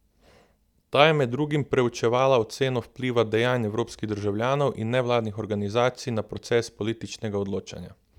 Ta je med drugim preučevala oceno vpliva dejanj evropskih državljanov in nevladnih organizacij na proces političnega odločanja.